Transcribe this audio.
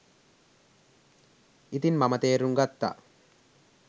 ඉතින් මම තේරුම් ගත්තා